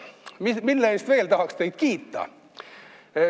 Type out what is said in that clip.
Mille eest ma teid kiita tahan?